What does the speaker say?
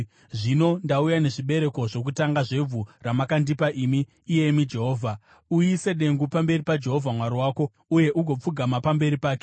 Zvino ndauya nezvibereko zvokutanga zvevhu ramakandipa imi, iyemi Jehovha.” Uise dengu pamberi paJehovha Mwari wako uye ugopfugama pamberi pake.